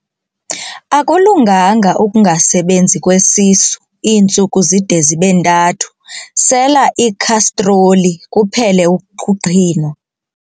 Akulunganga ukungasebenzi kwesisu iintsuku zide zibe ntathu, sela ikhastroli kuphele ukuqhinwa.